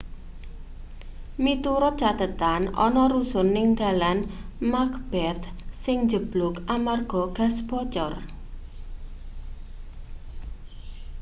miturut cathetan ana rusun ning dalan macbeth sing njebluk amarga gas bocor